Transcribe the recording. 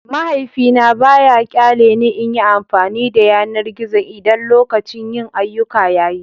Mahaifina ba ya ƙyale ni in yi amfani da yanar gizo idan lokacin yin ayyuka ya yi.